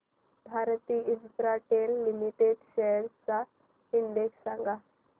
Bharti Infratel limited shares चा index सांगा